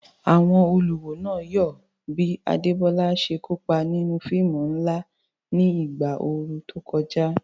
Àwọn olùwò náà yọ̀ bí Adebola ṣe kópa nínú fíìmù ńlá ní ìgbà ooru tó kọjá.